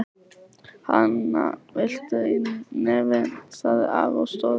Hana, viltu í nefið? sagði afi og stóð upp.